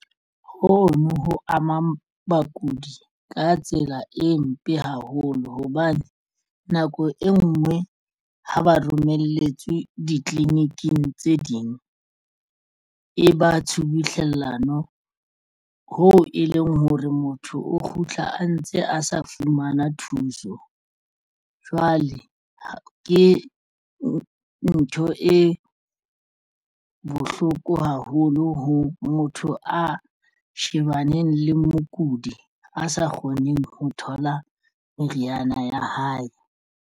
Ho no ho amang bakudi ka tsela e mpe haholo hobane nako e nngwe ho ba romelletswe ditliliniking tse ding, e ba tshubuhlellano hoo e leng hore motho o kgutla a ntse a sa fumana thuso. Jwale ke ntho e bohloko haholo ho motho a shebaneng le mokudi a sa kgoneng ho thola meriana ya hae.